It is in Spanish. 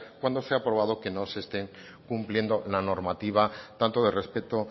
cuando se ha probado que no se estén cumpliendo la normativa tanto de respeto